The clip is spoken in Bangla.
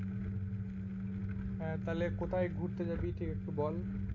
হ্যাঁ তাহলে কোথায় ঘুরতে যাবি তুই একটু বল?